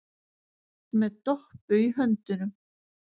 Með Doppu í höndunum.